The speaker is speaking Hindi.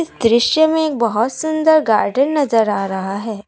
दृश्य में एक बहोत सुंदर गार्डेन नजर आ रहा है।